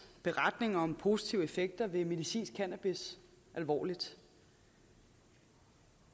beretning om positive effekter ved medicinsk cannabis alvorligt